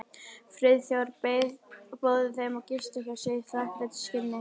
Friðþjófur boðið þeim að gista hjá sér í þakklætisskyni.